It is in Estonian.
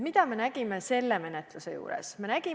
Mida me nägime selle eelnõu menetluse juures?